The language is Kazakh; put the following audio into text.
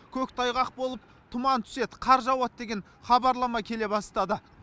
көктайғақ болып тұман түседі қар жауады деген хабарлама келе бастады